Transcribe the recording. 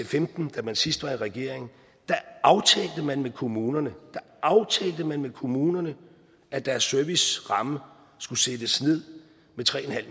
femten da man sidst var i regering aftalte man med kommunerne da aftalte man med kommunerne at deres serviceramme skulle sættes ned med tre